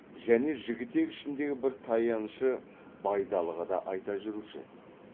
және жігітек ішіндегі бір таянышы байдалыға да айта жүруші еді